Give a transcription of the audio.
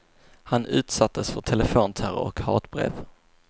Han utsattes för telefonterror och hatbrev.